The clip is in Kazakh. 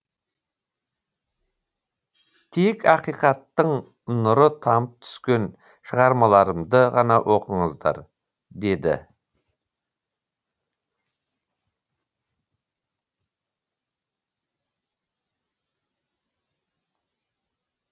тек ақиқаттың нұры тамып түскен шығармаларымды ғана оқыңыздар деді